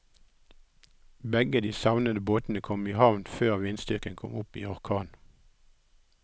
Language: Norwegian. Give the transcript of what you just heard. Begge de savnede båtene kom i havn før vindstyrken kom opp i orkan.